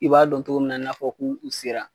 I b'a dɔn cogo min na n'a fɔ ko u sera